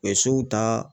U ye sow ta